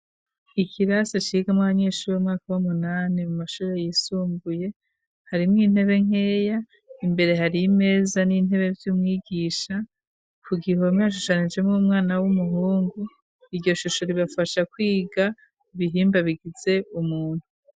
Ikirasi cigamwo abanyeshuri w'umwaka bumunani mu mashuri yisumbuye harimwo intebe nkeya imbere hariy'imeza n'intebe by'umwigisha ku gihome hashushanije mo umwana w'umuhungu iyo shusho ribafasha kwiga ibihimba bigize umuntu.